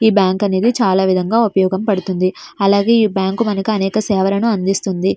ఈ బ్యాంక్ అనేది చాలా విధంగా ఉపయోగపడుతుంది. అలాగే ఈ బ్యాంకు మనకు అనేక సేవలను అందిస్తుంది.